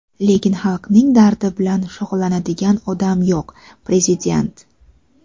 lekin xalqning dardi bilan shug‘ullanadigan odam yo‘q – Prezident.